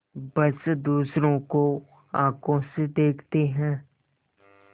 बस दूसरों को आँखों से देखते हैं